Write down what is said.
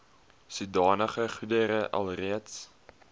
sodanige goedere alreeds